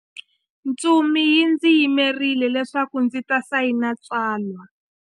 Ntsumi yi ndzi yimerile leswaku ndzi ta sayina tsalwa.